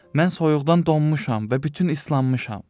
Mən soyuqdan donmuşam və bütün islanmışam.